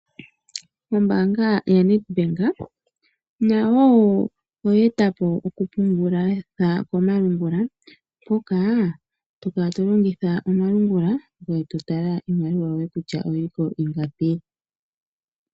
Ombaanga yaNedbank nayo oyeetapo oku pungulitha komalungula hoka tokala to longitha omalungula ngweye to tala iimaliwa yoye kutya oyiliko ingapi.